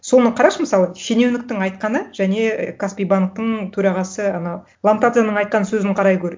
соны қарашы мысалы шенеуніктің айтқаны және каспи банктің төрағасы анау ломтадзеның айтқан сөзін қарай гөр